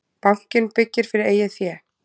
Bankinn byggir fyrir eigið fé